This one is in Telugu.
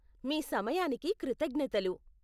మీ సమయానికి కృతజ్ఞతలు!